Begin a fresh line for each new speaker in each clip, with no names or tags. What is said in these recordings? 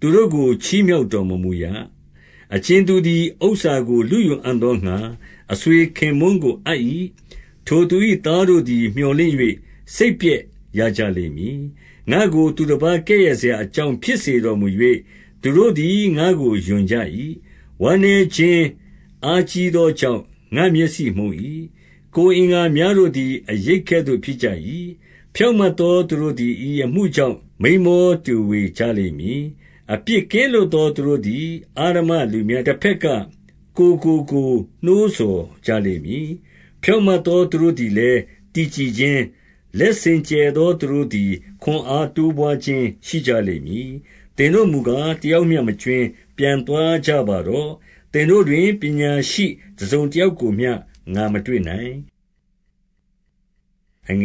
သူတို့ကို ချီးမြှောက်တော်မမူရ။ 5 အကြင်သူသည် ဥစ္စာကိုလုယူအံ့သောငှါ အဆွေခင်ပွန်းကို အပ်၏။ ထိုသူ၏သားတို့သည် မြော်လင့်၍ စိတ်ပျက်ရကြလိမ့်မည်။ 6 ငါ့ကို သူတပါးကဲ့ရဲ့စရာ အကြောင်းဖြစ်စေတော်မူ၍၊ သူတို့သည် ငါ့ကိုရွံ့ကြ၏။ 7 ဝမ်းနည်းခြင်းအားကြီးသောကြောင့် ငါ့မျက်စိ မှုန်၏။ ကိုယ်အင်္ဂါများတို့သည် အရိပ်ကဲ့သို့ ဖြစ်ကြ၏။ 8 ဖြောင့်မတ်သော သူတို့သည် ဤအမှုကြောင့် မိန်းမောတွေဝေကြလိမ့်မည်။ အပြစ်ကင်းလွတ်သော သူတို့သည် အဓမ္မလူများတဘက်က ကိုယ်ကိုကိုယ်နှိုးဆော် ကြလိမ့်မည်။ 9 ဖြောင့်မတ်သော သူတို့သည်လည်း တည်ကြည်ခြင်း၊ လက်စင်ကြယ်သောသူတို့သည် ခွန်အားတိုးပွါးခြင်း ရှိကြလိမ့်မည်။ 10 သင်တို့မူကား တယောက်မျှမကြွင်း၊ ပြန်သွားကြ ပါတော့။ သင်တို့တွင် ပညာရှိတစုံတယောက်ကိုမျှ ငါ မတွေ့နိုင်။ 11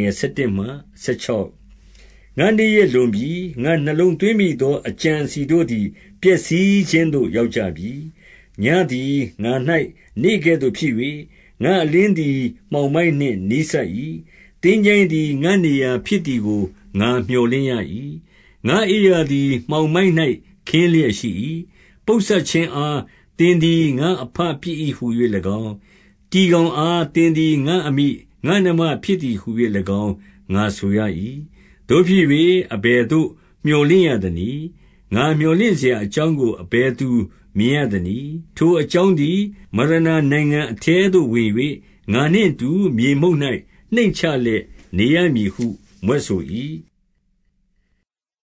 ငါ့နေ့ရက်လွန်ပြီ။ ငါနှလုံးသွင်းမိသော အကြံ အစည်တို့သည် ပျက်စီးခြင်းသို့ ရောက်ကြပြီ။ 12 ညဉ့်သည် ငါ၌ နေကဲ့သို့ဖြစ်၍၊ ငါ့အလင်းသည် မှောင်မိုက်နှင့် နီးစပ်၏။ 13 သင်္ချိုင်းသည် ငါ့နေရာဖြစ်သည်ကို ငါမြော်လင့် ၏။ ငါ့အိပ်ရာသည် မှောင်မိုက်၌ ခင်းလျက်ရှိ၏။ 14 ပုပ်စပ်ခြင်းအား၊ သင်သည် ငါ့အဘဖြစ်၏ဟူ၍၎င်း၊ တီကောင်အား သင်သည်ငါ့အမိ၊ ငါ့နှမဖြစ် သည်ဟူ၍၎င်း ငါဆိုရ၏။ 15 သို့ဖြစ်၍ အဘယ်သို့ ငါမြော်လင့်ရသနည်း။ ငါမြော်လင့်စရာအကြောင်းကို အဘယ်သူမြင်ရသနည်း။ 16 ထိုအကြောင်းသည် မရဏနိုင်ငံအထဲသို့ဝင်၍၊ ငါနှင့်အတူ မြေမှုန့်၌ နှိမ့်ချလျက်နေရမည်ဟု မြွက်ဆို၏။